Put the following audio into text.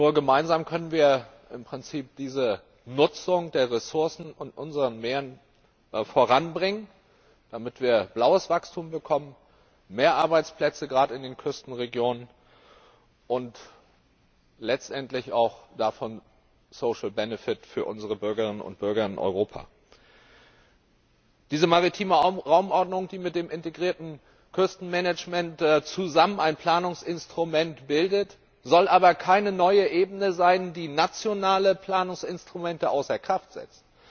Nur gemeinsam können wir im Prinzip diese Nutzung der Ressourcen unserer Meere voranbringen, damit wir blaues Wachstum bekommen, mehr Arbeitsplätze gerade in den Küstenregionen und davon letztendlich auch social benefit für unsere Bürgerinnen und Bürger in Europa. Diese maritime Raumordnung, die mit dem integrierten Küstenmanagement zusammen ein Planungsinstrument bildet, soll aber keine neue Ebene sein, die nationale Planungsinstrumente außer Kraft setzt,